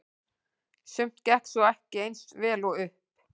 Sumt gekk svo ekki eins vel upp.